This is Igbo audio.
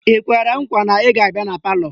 Ị kwere nkwa na ị ga-abịa na palọ?